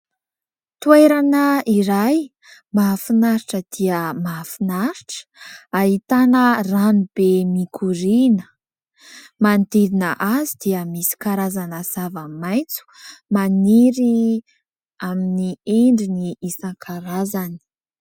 Toerana iray mahafinaritra dia mahafinaritra ahitana ranobe mikoriana, manodidina azy dia misy karazana zavamaitso maniry amin'ny endriny isankarazany.